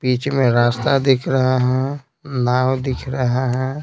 बीच में रास्ता दिख रहा है नाव दिख रहा है।